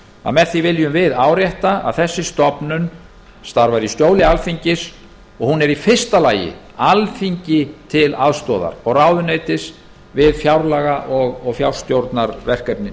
að með því viljum við árétta að þessi stofnun starfar í skjóli alþingis og er í fyrsta lagi alþingi til aðstoðar og ráðuneytis við fjárlaga